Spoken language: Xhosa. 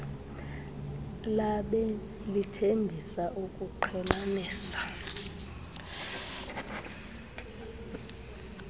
labemi lithembisa ukuqhelanisa